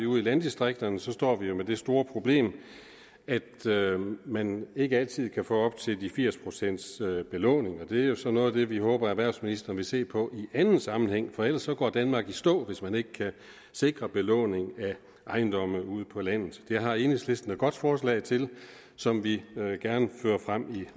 ude i landdistrikterne står vi jo med det store problem at man ikke altid kan få op til firs procent belåning og det er jo så noget af det vi håber at erhvervsministeren vil se på i anden sammenhæng for ellers går danmark i stå hvis man ikke kan sikre belåning af ejendomme ude på landet det har enhedslisten et godt forslag til som vi gerne fører frem i